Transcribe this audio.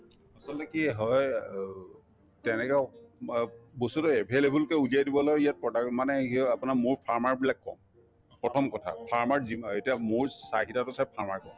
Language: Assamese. আচলতে কি হয় অ তেনেকুৱা বস্তুতো available কে উলিয়াই দিবলৈ ইয়াত product মানে আপোনাৰ মৌৰ farmer বিলাক কম প্ৰথম কথা farmer ৰ যিমা এতিয়া মৌৰ চাহিদাতো চাই farmer